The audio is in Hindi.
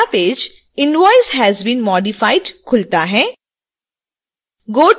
एक नयां page invoice has been modified खुलता है